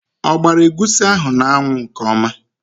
O gbara egwusi ahụ n'anwụ nke ọma?